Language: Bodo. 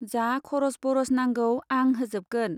जा खर'स बर'स नांगौ आं होजोबगोन।